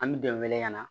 An bɛ dɛmɛ wele ka na